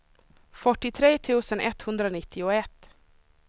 fyrtiotre tusen etthundranittioett